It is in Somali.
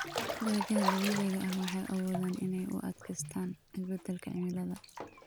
Dalagyada dabiiciga ah waxay awoodaan inay u adkeystaan ??isbeddelka cimilada.